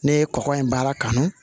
Ne ye kɔkɔ in baara kanu